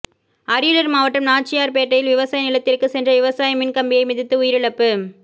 அரியலூர் மாவட்டம் நாச்சியார்பேட்டையில் விவசாய நிலத்திற்கு சென்ற விவசாயி மின் கம்பியை மிதித்து உயிரிழப்பு